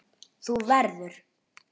Þú verður.